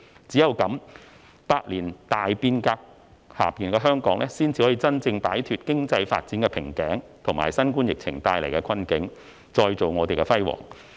只有這樣，百年大變革下的香港，才能真正擺脫經濟發展瓶頸，以及新冠疫情帶來的困境，再造香港的輝煌。